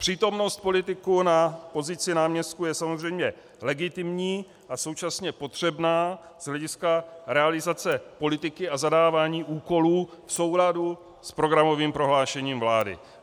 Přítomnost politiků na pozici náměstků je samozřejmě legitimní a současně potřebná z hlediska realizace politiky a zadávání úkolů v souladu s programovým prohlášením vlády.